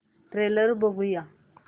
trailer बघूया